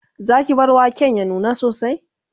Zaki bar waken ya nuna sosai?